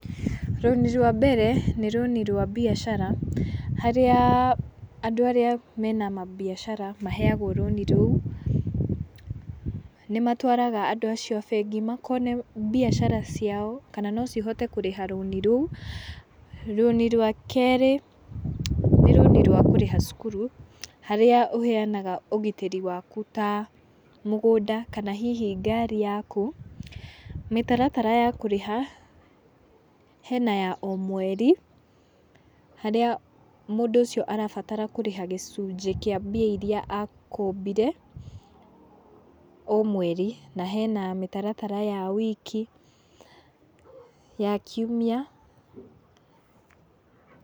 Rũni rwa mbere, nĩ rũni rwa biacara, harĩa andũ arĩa mena mabiacara maheagwo rũni rou, nĩ matwaraga andũ acio a bengi makona biacara ciao kana no cihote kũrĩha rũni rou, rũni rwa kerĩ, nĩ rũni rwa kũrĩha cukuru, harĩa ũheanaga ũgitĩri wakũ ta mũgũnda, kana hihi ngari yakũ, mĩtaratara ya kũrĩha, hena ya o mweri harĩa mũndũ ũcio arabatara kũrĩha gĩcunjĩ kĩa mbia iria akombire, o mweri, na hena mĩtaratara ya wiki ya kiũmia.